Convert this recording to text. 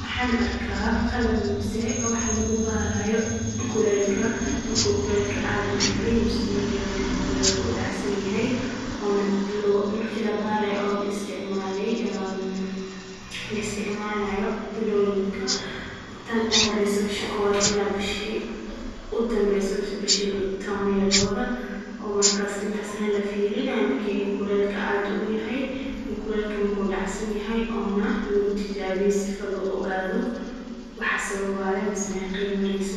Waxan arka qalab mise wax lagu baraayo kuleylka marku kuleylka ad yaryahay ama marku dacsanyahay ona marki labarayo laisticmalayo billoyinka tan u horeeyso bisha kowbad ila bishi u dambeysa misa bishi taban iyo labada o markas intas la fairinay marki kuleel ad u yahay iyo kuleeyka marku dacsan yahay ona lagutijabiyo si lagu ogaado wax sababaya masa mesha ya mareysa